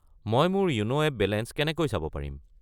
মই মোৰ য়োনো এপ বেলেঞ্চ কেনেকৈ চাব পাৰিম?